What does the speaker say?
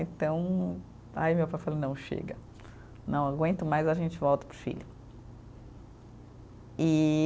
Então, aí meu pai falou, não, chega, não aguento mais, a gente volta para o Chile. E